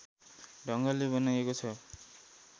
ढङ्गले बनाइएको छ